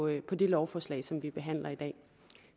i det lovforslag som vi behandler i dag